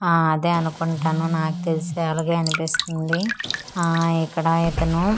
ఆ అదే అన్కుంటను నాక్ తెలిసి అలగే అన్పిస్తుంది ఆ ఇక్కడ ఇతను.